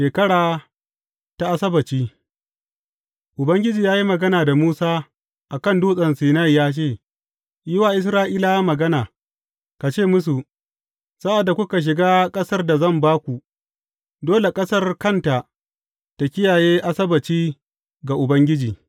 Shekara ta Asabbaci Ubangiji ya yi magana da Musa a kan Dutsen Sinai ya ce, Yi wa Isra’ilawa magana, ka ce musu, Sa’ad da kuka shiga ƙasar da zan ba ku, dole ƙasar kanta ta kiyaye Asabbaci ga Ubangiji.